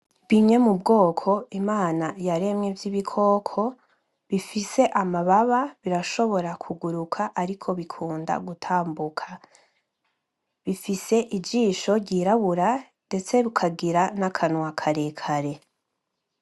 Bimwe mubwoko imana yaremye bw'ibikoko bifise amababa birashobora kuguruka ariko bikunda gutambuka , bifise ijisho ryirabura ndetse bikagira nakanwa kare kare.